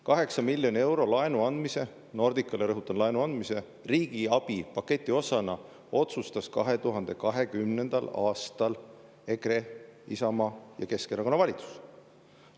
8 miljoni euro laenu andmise Nordicale – rõhutan, laenu andmise – riigi abipaketi osana otsustas 2020. aastal EKRE, Isamaa ja Keskerakonna valitsus.